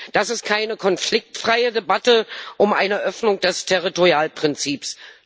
Das ist keine konfliktfreie Debatte um eine Öffnung des Territorialprinzips.